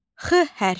X hərfi.